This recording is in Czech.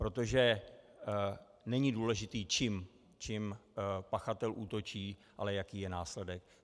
Protože není důležité, čím pachatel útočí, ale jaký je následek.